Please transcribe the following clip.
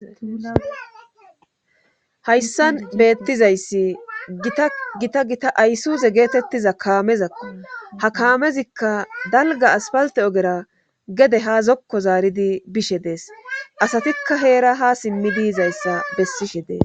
hayssan beettizayssi gita gita gita aysuze geetettiza kaamezakko ha kaamezikka dalga aspalte ogera gede ha zokko zaaridi bishe dees asatikka heera ha simmi diizayssa bessishe dees